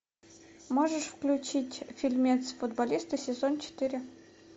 можешь включить фильмец футболисты сезон четыре